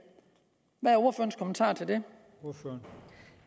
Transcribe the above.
hvad